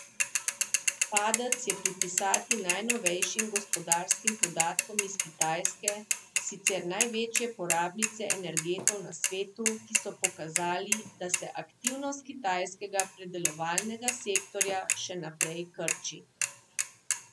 Padec je pripisati najnovejšim gospodarskim podatkom iz Kitajske, sicer največje porabnice energentov na svetu, ki so pokazali, da se aktivnost kitajskega predelovalnega sektorja še naprej krči.